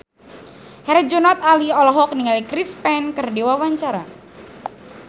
Herjunot Ali olohok ningali Chris Pane keur diwawancara